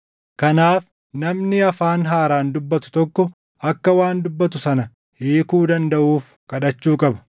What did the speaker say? Kanaaf namni afaan haaraan dubbatu tokko akka waan dubbatu sana hiikuu dandaʼuuf kadhachuu qaba.